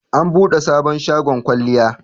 an bude sabon shagon kwalliya